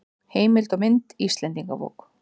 Heimild og mynd Íslendingabók.